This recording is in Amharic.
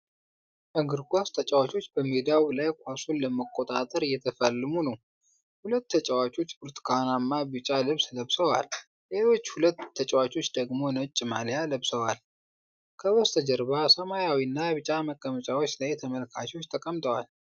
እግር ኳስ ተጫዋቾች በሜዳው ላይ ኳሱን ለመቆጣጠር እየተፋለሙ ነው። ሁለት ተጫዋቾች ብርቱካንማና ቢጫ ልብስ ለብሰዋል፤ ሌሎች ሁለት ተጫዋቾች ደግሞ ነጭ ማልያ ለብሰዋል። ከበስተጀርባ ሰማያዊና ቢጫ መቀመጫዎች ላይ ተመልካቾች ተቀምጠዋል።